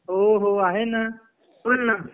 हो हो आहे न बोल न